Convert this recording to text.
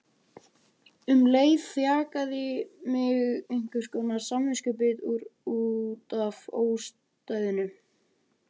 En um leið þjakaði mig einhverskonar samviskubit út af ódæðinu.